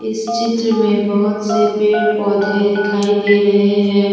इस चित्र में बहुत से पेड़ पौधे दिखाई दे रहे हैं।